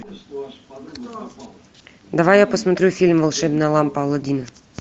давай я посмотрю фильм волшебная лампа аладдина